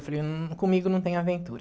Eu falei, comigo não tem aventura.